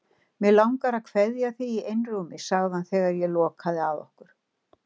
Mig langar að kveðja þig í einrúmi, segir hann þegar ég loka að okkur.